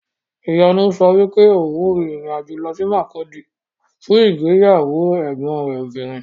Ìyanu sọ wípé òun rin ìrìn-àjò lọ sí Makurdi fún ìgbéyàwó ẹ̀gbọn rẹ̀ obìnrin.